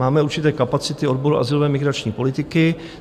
Máme určité kapacity odboru azylové, migrační politiky.